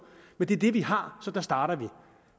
men det er det vi har så der starter vi